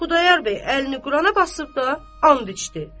Xudayar bəy əlini Qurana basıb da and içdi.